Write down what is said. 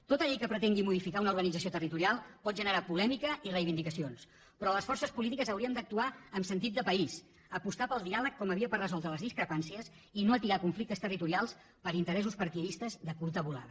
tota llei que pretengui modificar una organització territorial pot generar polèmica i reivindicacions però les forces polítiques hauríem d’actuar amb sentit de país apostar pel diàleg com a via per resoldre les discrepàncies i no atiar conflictes territorials per interessos partidistes de curta volada